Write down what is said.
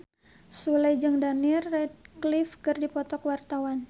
Sule jeung Daniel Radcliffe keur dipoto ku wartawan